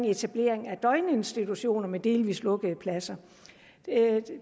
etablering af døgninstitutioner med delvis lukkede pladser